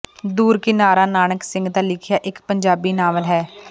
ਦੂਰ ਕਿਨਾਰਾ ਨਾਨਕ ਸਿੰਘ ਦਾ ਲਿਖਿਆ ਇੱਕ ਪੰਜਾਬੀ ਨਾਵਲ ਹੈ